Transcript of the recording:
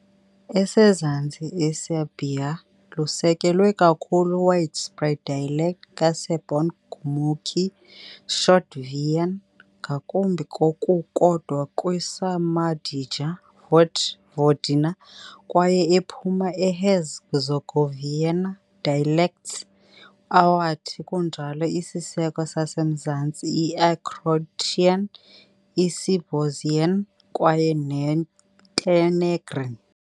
Esezantsi iserbia lusekelwe kakhulu widespread dialect ka-Serbon-gurmukhi, Shtokavian, ngakumbi ngokukodwa kwi - Šumadija-Vojvodina kwaye Ephuma Herzegovinian dialects, awathi kunjalo isiseko sasemzantsi i-croatian, Isibosnian, kwaye Montenegrin.